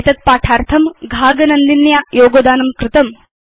एतद् पाठार्थं घाग नन्दिन्या योगदानं कृतम्